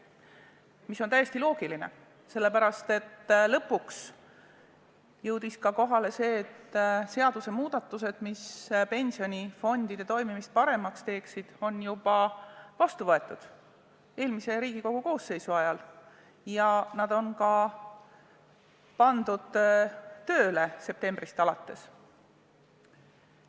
See on ka täiesti loogiline, sest lõpuks jõudis kohale, et seadusemuudatused, mis pensionifondide toimimist paremaks teeksid, on juba eelmise Riigikogu koosseisu ajal vastu võetud ja septembrist alates ka tööle pandud.